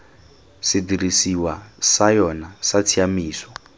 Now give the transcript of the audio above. sedirisiwa sa yona sa tshiaimiso